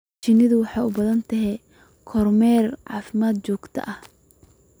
Shinnidu waxay u baahan tahay kormeer caafimaad oo joogto ah.